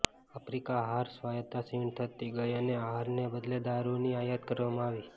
Africa આહાર સ્વાયત્તા ક્ષીણ થતી ગઈ અને આહારને બદલે દારૂની આયાત કરવામાં આવી